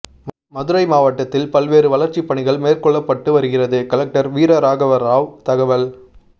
மதுரை மாவட்டத்தில் பல்வேறு வளர்ச்சிப்பணிகள் மேற்கொள்ளப்பட்டு வருகிறது கலெக்டர் வீரராகவராவ் தகவல்